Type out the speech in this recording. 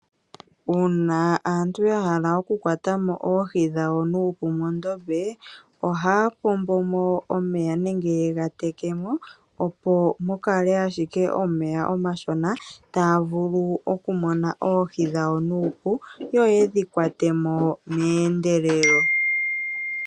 Uuna aantu yahala okukwata mo oohi dhawo nuupu mondombe, ohaya pombo mo omeya nenge yegateke mo opo mukale ashike omeya omashona taya vulu okumona oohi dhawo nuupu yo yedhi kwate mo mehendelelo.